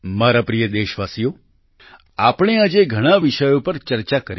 મારા પ્રિય દેશવાસીઓ આપણે આજે ઘણાં વિષયો પર ચર્ચા કરી